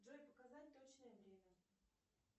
джой показать точное время